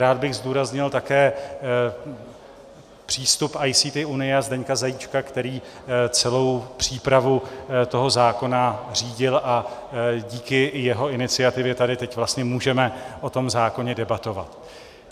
Rád bych zdůraznil také přístup ICT unie a Zdeňka Zajíčka, který celou přípravu toho zákona řídil, a díky jeho iniciativě tady teď vlastně můžeme o tom zákoně debatovat.